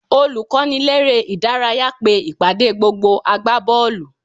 Olùkọ́niléré-ìdárayá pe ìpàdé gbogbo agbábọ́ọ̀lù